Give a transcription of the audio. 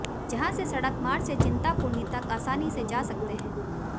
यहां से सड़क मार्ग से चिंतपूर्णी तक आसानी से जा सकते हैं